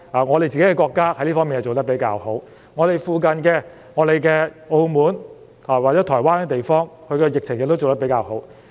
我們國家在這方面做得比較好，而鄰近的澳門及台灣處理疫情的工作亦做得比較好。